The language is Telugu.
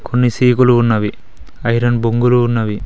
కొన్ని సీకులు ఉన్నవి ఐరన్ బొంగురు ఉన్నవి.